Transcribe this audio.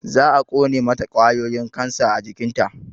Za a ƙone mata ƙwayoyin kansa a jikinta